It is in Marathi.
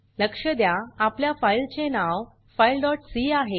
लक्ष द्या आपल्या फाइल चे नाव fileसी आहे